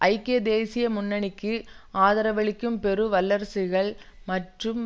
ஐக்கிய தேசிய முன்னணிக்கு ஆதரவளிக்கும் பெரும் வல்லரசுகள் மற்றும்